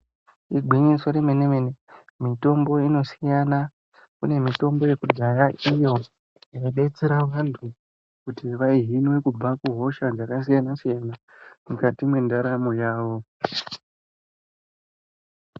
Igwinyiso remene mene mitombo inosiyana kune mitombo yekudhaya iyo inodetsera vantu kuti vahinwe hosha dzakasiyana siyana mukati mwendaramo yavo.